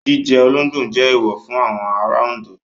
Jíjẹ olóńgbò jẹ́ èèwọ̀ fún àwọn ará Oǹdó.